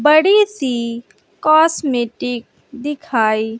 बड़ी सी कॉस्मेटिक दिखाई--